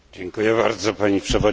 Pani Przewodnicząca!